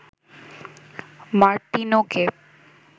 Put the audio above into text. মার্তিনোকে